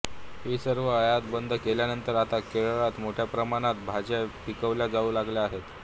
ही सर्व आयात बंद केल्यानंतर आता केरळात मोठ्या प्रमाणात भाज्या पिकवल्या जाऊ लागल्या आहेत